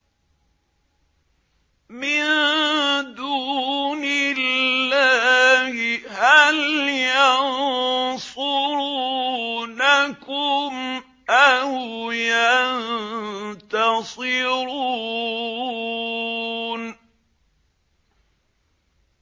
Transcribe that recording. مِن دُونِ اللَّهِ هَلْ يَنصُرُونَكُمْ أَوْ يَنتَصِرُونَ